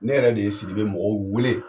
Ne yɛrɛ de ye siribe mɔgɔw weele